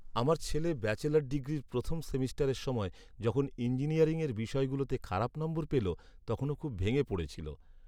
আমার ছেলে ব্যাচেলর ডিগ্রির প্রথম সেমেস্টারের সময় যখন ইঞ্জিনিয়ারিংয়ের বিষয়গুলোতে খারাপ নম্বর পেলো, তখন ও খুব ভেঙে পড়েছিল।